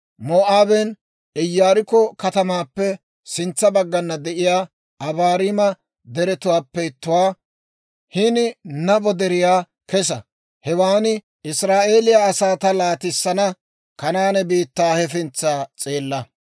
«Moo'aaben Iyaarikko katamaappe sintsa baggana de'iyaa Abaarima Deretuwaappe ittuwaa, hini Nabo Deriyaa kesa; hewan Israa'eeliyaa asaa ta laatissana Kanaane biittaa hefintsa s'eella.